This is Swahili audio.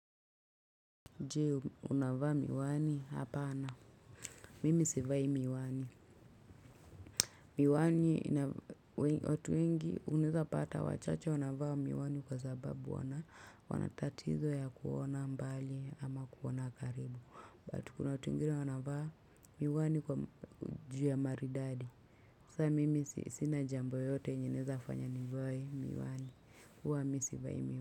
Je, unavaa miwani? Hapana, mimi sivai miwani. Miwani ina watu wengi unaweza pata wachache wanavaa miwani kwa sababu wana, wana tatizo ya kuona mbali ama kuona karibu. But kuna watu wengine wanavaa miwani kwa, juu ya maridadi. Sa mimi sina jambo yoyote yenye inaweza fanya nivae miwani, huwa mi sivai miwani.